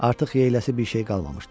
Artıq yeyiləsi bir şey qalmamışdı.